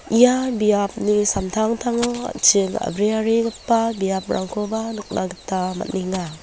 ia biapni samtangtango an·ching a·briarigipa biaprangkoba nikna gita man·enga.